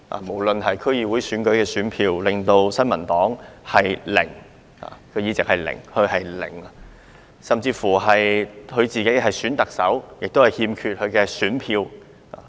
無論是區議會選舉——新民黨取得零個議席——還是她曾參與的特首選舉，她亦缺乏選票。